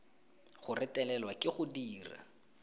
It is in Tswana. go retelelwa ke go dira